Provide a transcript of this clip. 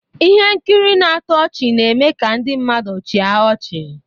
Ihe nkiri na-atọ ọchị na-eme ka ndị mmadụ chịa ọchị